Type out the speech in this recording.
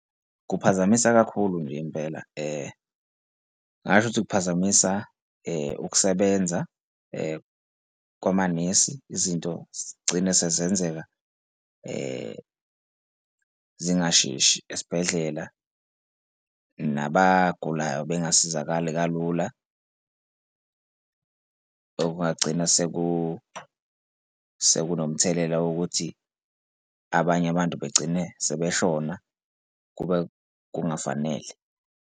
Kuphazamisa kakhulu nje impela, ngingasho ukuthi kuphazamisa ukusebenza kwamanesi izinto zigcine sezenzeka zingasheshi esibhedlela nabagulayo bengasizakali kalula. Okungagcina sekunomthelela wokuthi abanye abantu begcine sebeshona kube kungafanele.